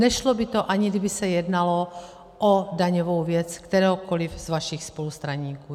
Nešlo by to, ani kdyby se jednalo o daňovou věc kteréhokoliv z vašich spolustraníků.